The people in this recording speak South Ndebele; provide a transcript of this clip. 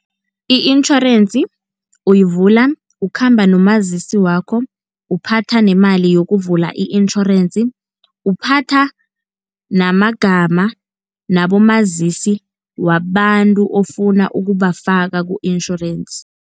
I-insurance uyivula, ukhamba nomazisi wakho, uphatha nemali yokuvula i-insurance, uphatha namagama nabomazisi wabantu ofuna ukubafaka ku-insurance.